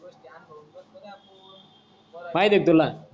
पाहिजे क तुला. बर आहे